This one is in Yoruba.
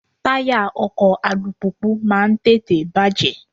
Táyà ọkọ̀ alùpùpù máa ń tètè bàjẹ́.